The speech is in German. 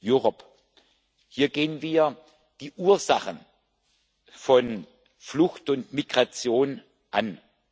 Europe Hier gehen wir die Ursachen von Flucht und Migration an.